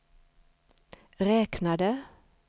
räknade